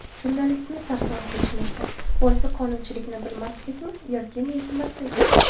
Jurnalistni sarson qilishmoqda: Boisi qonunchilikni bilmaslikmi yo mensimaslik?.